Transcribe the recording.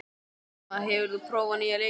Íma, hefur þú prófað nýja leikinn?